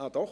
Doch!